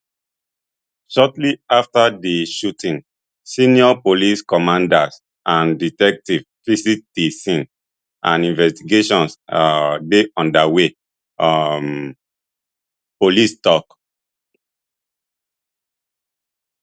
shortly afta di shooting senior police commanders and detectives visit di scene and investigations um dey underway um police tok